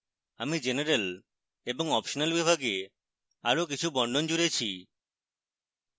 আমি general এবং optional বিভাগে আরো কিছু বর্ণন জুড়েছি